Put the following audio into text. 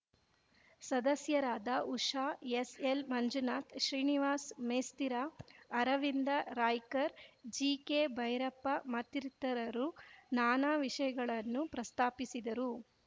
ಸದಸ್ಯರಾದ ಉಷಾ ಎಸ್‌ಎಲ್‌ಮಂಜುನಾಥ್‌ ಶ್ರೀನಿವಾಸ್‌ ಮೇಸ್ತಿರ ಅರವಿಂದ ರಾಯ್ಕರ್‌ ಜಿಕೆಭೈರಪ್ಪ ಮತ್ತಿತರರು ನಾನಾ ವಿಷಯಗಳನ್ನು ಪ್ರಸ್ತಾಪಿಸಿದರು